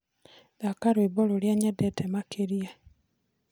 thaka rwĩmbo rũrĩa nyendete makĩrĩa